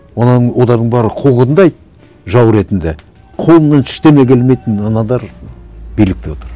оның оларды бәрі қуғындайды жау ретінде қолынан ештеңе келмейтін аналар билікте отыр